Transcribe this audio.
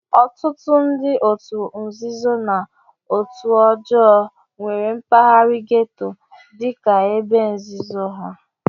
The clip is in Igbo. Ọtụtụ ndị òtù nzuzo na òtù ọjọọ nwere mpaghara gétò dị ka ebe nzuzo ha